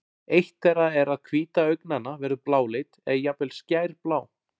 eitt þeirra er að hvíta augnanna verður bláleit eða jafnvel skærblá